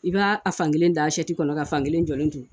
I b'a a fankelen da kɔnɔ ka fankelen jɔlen to